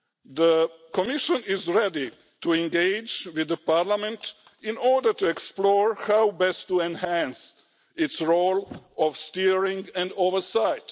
The Commission is ready to engage with Parliament in order to explore how best to enhance its role of steering and oversight.